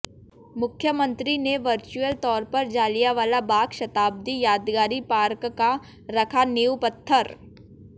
मुख्यमंत्री ने वर्चुअल तौर पर जलियांवाला बाग शताब्दी यादगारी पार्क का रखा नींव पत्थर